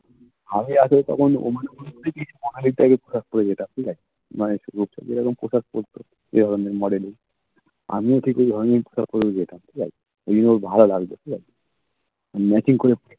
আমি আগে তখন মানে ওর দিকে তাকাই না বিশ্বাস করবে না ঠিক আছে মানে সুযোগ সুবিধা যখন কোথাও পড়তো আমিও ঠিক ঐ পরে যেতাম ঠিক আছে ঐগুলো ভালো লাগত ঠিক আছে machine করে